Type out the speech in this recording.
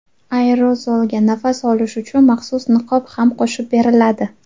Aerozolga nafas olish uchun maxsus niqob ham qo‘shib beriladi.